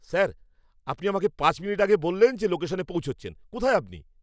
Sir, আপনি আমাকে পাঁচ মিনিট আগে বললেন যে লোকেশনে পৌঁছচ্ছেন। কোথায় আপনি?